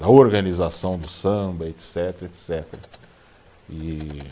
Da organização do samba, etcetera, etcetera, e